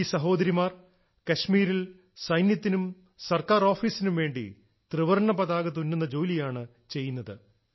ഈ സഹോദരിമാർ കാശ്മീരിൽ സൈന്യത്തിനും സർക്കാർ ഓഫീസിനും വേണ്ടി ത്രിവർണ്ണ പതാക തുന്നുന്ന ജോലിയാണ് ചെയ്യുന്നത്